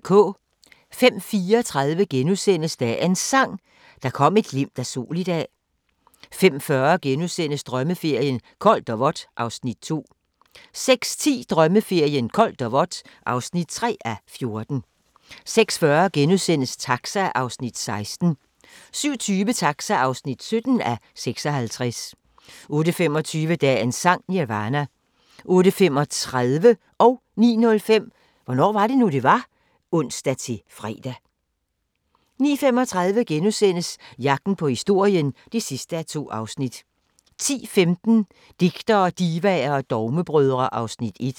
05:34: Dagens Sang: Der kom et glimt af sol i dag * 05:40: Drømmeferien: Koldt og vådt (2:14)* 06:10: Drømmeferien: Koldt og vådt (3:14) 06:40: Taxa (16:56)* 07:20: Taxa (17:56) 08:25: Dagens Sang: Nirvana 08:35: Hvornår var det nu, det var? (ons-fre) 09:05: Hvornår var det nu, det var? *(ons-fre) 09:35: Jagten på historien (8:8)* 10:15: Digtere, divaer og dogmebrødre (Afs. 1)